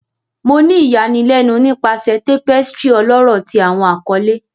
Mo ni iyanilenu nipasẹ tapestry ọlọrọ ti Awọn akọle